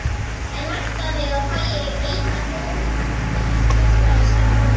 En væntanlega fæ ég eina bón uppfyllta í staðinn?